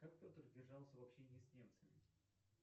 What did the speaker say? как петр держался в общении с немцами